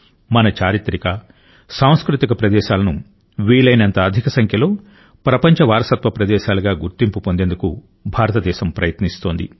మన చారిత్రక సాంస్కృతిక ప్రదేశాలను వీలైనంత అధిక సంఖ్యలో ప్రపంచ వారసత్వ ప్రదేశాలుగా గుర్తింపు పొందేందుకు భారతదేశం ప్రయత్నిస్తోంది